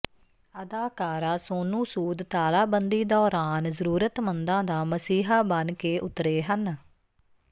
ਅਦਾਕਾਰਾ ਸੋਨੂੰ ਸੂਦ ਤਾਲਾਬੰਦੀ ਦੌਰਾਨ ਜ਼ਰੂਰਤਮੰਦਾਂ ਦਾ ਮਸੀਹਾ ਬਣ ਕੇ ਉਤਰੇ ਹਨ